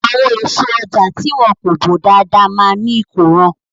Àwọn èso ọjà tí wọn kò bò dáadáa máa ní ìkóràn.